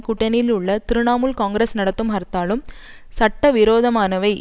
கூட்டணியிலுள்ள திருணாமுல் காங்கிரஸ் நடத்தும் ஹர்த்தாலும் சட்டவிரோதமானவை